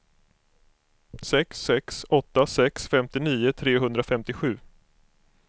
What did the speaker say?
sex sex åtta sex femtionio trehundrafemtiosju